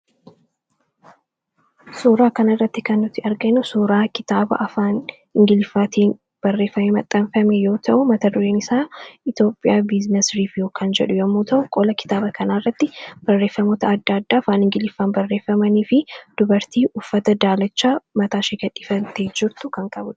Suuraa kana irratti kan nuti arginu suuraa kitaaba afaan ingiliffaatiin barreeffamee maxxaanfame yoo ta'u mata dureen isaa Itoophiyaa biizines riviyu kan jedhu yommuu ta'u qola kitaaba kanaarratti barreeffamoota adda addaa afaan ingiliffaan barreeffamanii fi dubartii uffata daalachaa mataa ishi gadhiifattee jirtu kan qabudha.